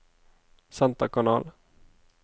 senterkanal